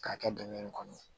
K'a kɛ dingɛ in kɔnɔ